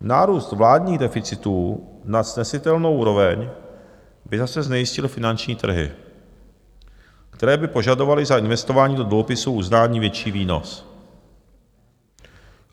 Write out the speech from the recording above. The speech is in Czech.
Nárůst vládních deficitů na snesitelnou úroveň by zase znejistil finanční trhy, které by požadovaly za investování do dluhopisů uznání větší výnos.